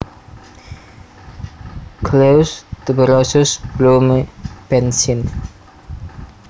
Coleus tuberosus Blume Benth syn